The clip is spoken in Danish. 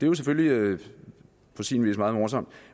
jo selvfølgelig på sin vis meget morsomt